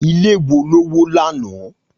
Ilé wo ló wó lánàá?